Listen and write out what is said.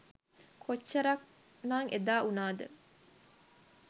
කොච්චරක් නං එදා උනාද?